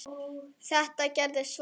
Þetta gerðist svo snöggt.